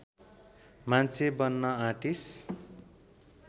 मान्छे बन्न आँटिस